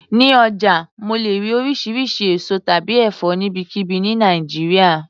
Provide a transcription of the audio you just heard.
Ní ọjà mo lè rí oríṣiríṣi èso tàbí ẹ̀fọ́ níbikíbi ni Nàìjíríà.